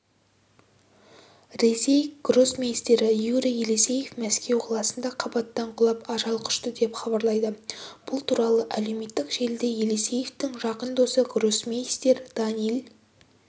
ресей гроссмейстері юрий елисеев мәскеу қаласында қабаттан құлап ажал құшты деп хабарлайды бұл туралы әлеуметтік желіде елисеевтің жақын досы гроссмейстер даниил